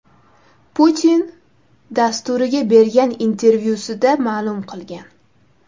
Putin” dasturiga bergan intervyusida ma’lum qilgan .